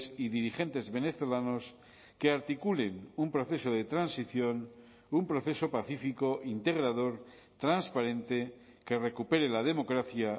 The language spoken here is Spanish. y dirigentes venezolanos que articulen un proceso de transición un proceso pacífico integrador transparente que recupere la democracia